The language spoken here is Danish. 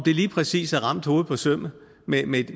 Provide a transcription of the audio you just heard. lige præcis har ramt hovedet på sømmet